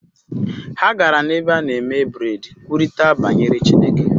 Ha gara n’ebe a na-eme bred kwurịta banyere Chineke